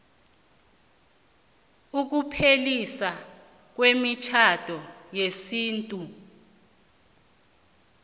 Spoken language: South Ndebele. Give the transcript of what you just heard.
ukupheliswa kwemitjhado yesintu